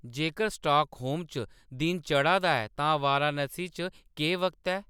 जेकर स्टॉकहोम च दिन चढ़ा दा ऐ तां वाराणसी च केह् वक्त ऐ